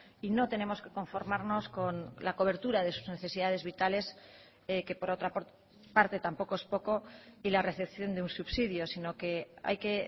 y no tenemos que conformarnos con la cobertura de sus necesidades vitales que por otra parte tampoco es poco y la recepción de un subsidio sino que hay que